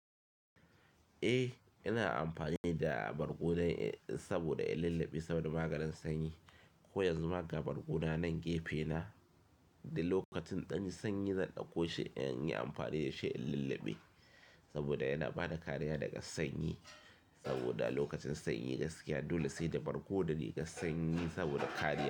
Eh, ina amfani da ɓargo saboda in lullabe saboda maganin sanyi. Ko yanzu ma ga ɓargo na nan gefe na, da lokacin ɗan sanyi zan ɗauko shi in yi amfani da shi in lullabe saboda yana bada kariya daga sanyi. Saboda lokacin sanyi gaskiya dole sai da ɓargo da riga sanyi saboda kariya.